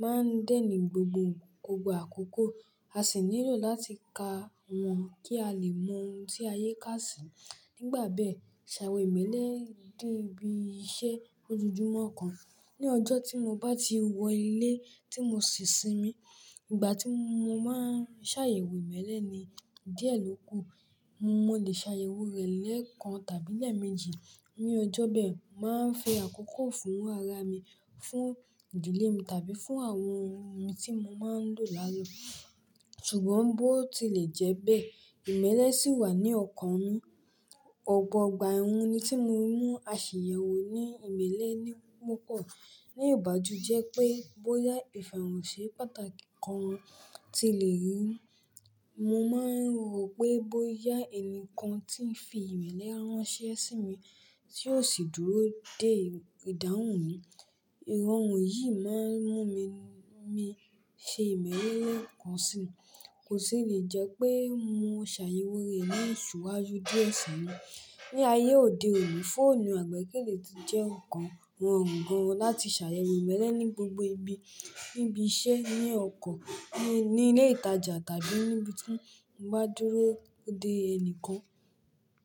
máa ń dènì gbogbo gbogbo àkókò, a sì nílò láti ka wọ́n kí a lè mọ ohun tí ayé kà sí. Nígbà bẹ́ẹ̀, ṣàyẹ̀ ìmọ̀lẹ dín bí iṣẹ́ lójoojúmọ́ kan. Ni ọjọ́ tí mo bá ti wọ ilé tí mo sì sinmi, ìgbà tí mo máa ń ṣàyẹ̀wò ìmọ̀lẹ ni díẹ̀ ló kù. Mo lè ṣàyẹ̀wò rẹ̀ lẹ́ẹ̀kan tàbí lẹ́ẹ̀meji. Ni ọjọ́ bẹ́ẹ̀, màá ń fi àkókò fún ara mi, fún ìdílé mi tàbí fún àwọn ohun tí mo máa ń lò lálọ́. Ṣùgbọ́n bó ti lè jẹ́ bẹ́ẹ̀, ìmọ̀le sì wà ní ọ̀kàn mi Ọ̀pọ̀ ọgbà ẹ́h ónú ni tí mo mú aṣàyẹ̀wò ní ìmọ̀le ni mọ́ pọ̀. Ní ìbáju jẹ́ pé bóyá ìfẹ̀hònsí pàtàkì kan ti lè rí. Mo máa ń rò pé bóyá ẹnìkan tí ń fi ìmọ̀le ránṣẹ́ sí mi tí yóò sì dúró dé ìdáhùn mi. Irọ̀rùn yìí máa ń mú mi- mi ṣe ìmọ̀lẹ kan sí i. Kò sì lè jẹ́ pé mo ṣàyẹ̀wò rẹ̀ ní ṣúwájú díẹ̀ sí mi. Ni ayé òde òní, fóònù àgbékẹ́lẹ́ ti jẹ́ nǹkan rorùn gan láti ṣàyẹ̀wò ìmọ̀le ní gbogbo ibi. Níbi iṣẹ́, ní oko, ní ilé ìtajà tàbí níbi tí mo bá dúró dé ẹni kan.